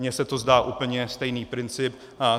Mně se to zdá úplně stejný princip.